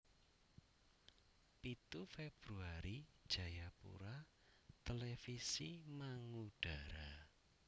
Pitu Februari Jayapura Televisi mangudara